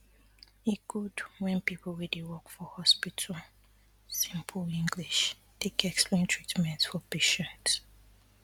e good wen people wey dey work for hospital simple english take explain treatments for patients